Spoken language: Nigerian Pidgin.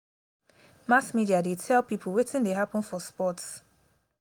mass media dey tell pipo wetin dey happen for sports.